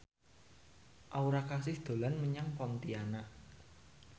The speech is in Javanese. Aura Kasih dolan menyang Pontianak